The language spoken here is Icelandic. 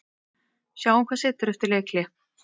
Sjáum hvað setur eftir leikhlé.